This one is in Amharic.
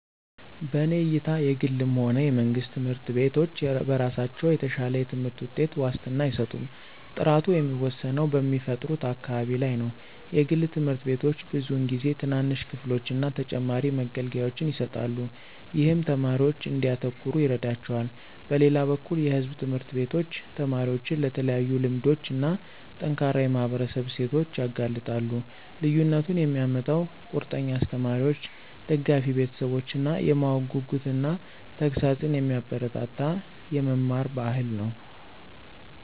በእኔ እይታ የግልም ሆነ የመንግስት ትምህርት ቤቶች በራሳቸው የተሻለ የትምህርት ውጤት ዋስትና አይሰጡም። ጥራቱ የሚወሰነው በሚፈጥሩት አካባቢ ላይ ነው. የግል ትምህርት ቤቶች ብዙውን ጊዜ ትናንሽ ክፍሎችን እና ተጨማሪ መገልገያዎችን ይሰጣሉ, ይህም ተማሪዎች እንዲያተኩሩ ይረዳቸዋል. በሌላ በኩል የሕዝብ ትምህርት ቤቶች ተማሪዎችን ለተለያዩ ልምዶች እና ጠንካራ የማህበረሰብ እሴቶች ያጋልጣሉ። ልዩነቱን የሚያመጣው ቁርጠኛ አስተማሪዎች፣ ደጋፊ ቤተሰቦች እና የማወቅ ጉጉትን እና ተግሣጽን የሚያበረታታ የመማር ባህል ነው።